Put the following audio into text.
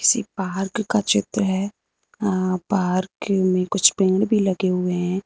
जे park का चित्र है अ पार्क में कुछ पेड़ भी लगे हुए हैं।